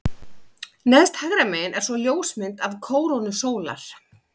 Neðst hægra megin er svo ljósmynd af kórónu sólar.